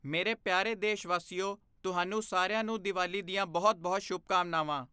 ਮੇਰੇ ਪਿਆਰੇ ਦੇਸ਼ਵਾਸੀਓ, ਤੁਹਾਨੂੰ ਸਾਰਿਆਂ ਨੂੰ ਦੀਵਾਲੀ ਦੀਆਂ ਬਹੁਤ ਬਹੁਤ ਸ਼ੁਭਕਾਮਨਾਵਾਂ।